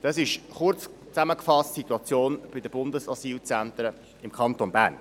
Das ist kurz zusammengefasst die Situation bei den Bundesasylzentren im Kanton Bern.